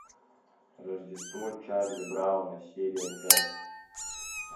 рождество чарли брауна серия пять